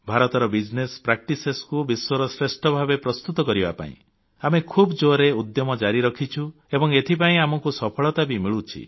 ଭାରତର ବ୍ୟବସାୟ ପଦ୍ଧତିକୁ ବିଶ୍ୱର ଶ୍ରେଷ୍ଠ ପଦ୍ଧତି ଭାବେ ପ୍ରସ୍ତୁତ କରିବା ପାଇଁ ଆମେ ଖୁବ୍ ଜୋରରେ ଉଦ୍ୟମ ଜାରି ରଖିଛୁ ଏବଂ ଏଥିପାଇଁ ଆମକୁ ସଫଳତା ବି ମିଳୁଛି